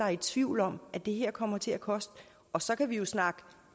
er i tvivl om at det her kommer til at koste og så kan vi jo snakke